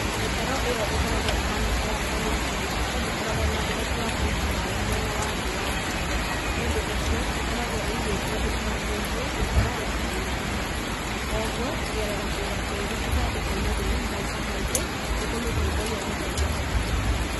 Mĩtaro ĩyo ĩkoragwo ĩhaana ta ya Fanya juu, no ndĩkoragwo na ũhoti wa kũiga maĩĩ mwena wa thĩ wa mũtaro nĩũndũ ũcio ĩkoragwo ĩigĩtwo ĩkuhanĩrĩirie gũkĩra ya Fanya juu, na kwoguo kũgerera kũiga tĩĩri ithandũkũ-inĩ rĩu maita maingĩ nĩ kũmĩteithagia gũthondekeka